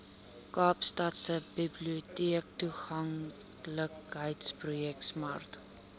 kaapstadse biblioteektoeganklikheidsprojek smart